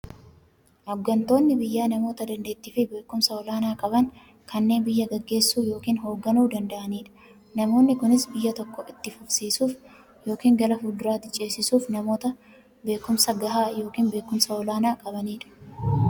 Hooggantoonni biyyaa namoota daanteettiifi beekumsa olaanaa qaban, kanneen biyya gaggeessuu yookiin hoogganuu danda'aniidha. Namoonni kunis, biyya tokko itti fufsiisuuf yookiin gara fuulduraatti ceesisuuf, namoota beekumsa gahaa yookiin beekumsa olaanaa qabaniidha.